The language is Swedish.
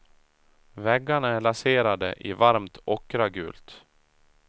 Väggarna är laserade i varmt ockragult.